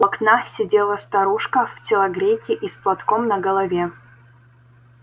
у окна сидела старушка в телогрейке и с платком на голове